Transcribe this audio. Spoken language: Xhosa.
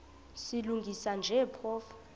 silungisa nje phofu